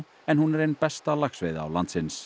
en hún er ein besta laxveiðiá landins